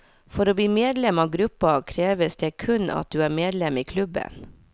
For å bli medlem av gruppa, kreves det kun at du er medlem i klubben.